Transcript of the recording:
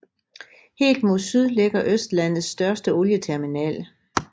Helt mod syd ligger Østlandets største olieterminal